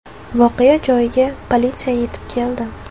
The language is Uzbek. Voqea joyiga politsiya yetib keldi.